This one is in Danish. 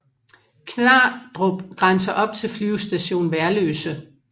Knardrup grænser op til Flyvestation Værløse